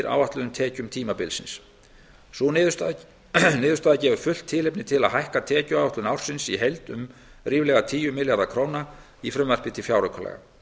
áætluðum tekjum tímabilsins sú niðurstaða gefur fullt tilefni til að hækka tekjuáætlun ársins í heild um ríflega tíu milljarða króna í frumvarpi til fjáraukalaga